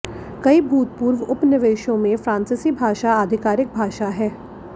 कई भूतपूर्व उपनिवेशों में फ्रांसीसी भाषा आधिकारिक भाषा हैं